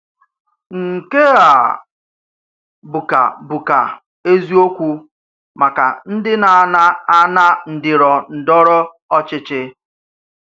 Nkè à bùkà bùkà èziòkwù màkà ndí nà-ànà-ànà ǹdìròndòrò òchìchì.